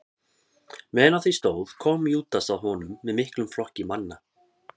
meðan á því stóð kom júdas að honum með miklum flokki manna